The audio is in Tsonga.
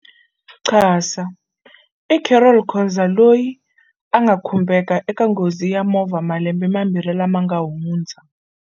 QASA i Carol Khoza loyi a nga khumbeka eka nghozi ya movha malembe mambirhi lama nga hundza.